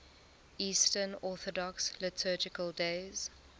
eastern orthodox liturgical days